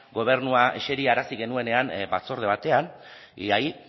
gobernua eserarazi genuenean batzorde batean y ahí